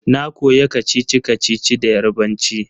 Na koya kacici-kacici da Yarbanci